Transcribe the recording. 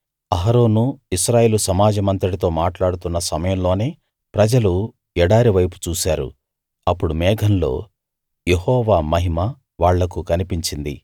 అహరోను ఇశ్రాయేలు సమాజమంతటితో మాట్లాడుతున్న సమయంలోనే ప్రజలు ఎడారి వైపు చూశారు అప్పుడు మేఘంలో యెహోవా మహిమ వాళ్లకు కనిపించింది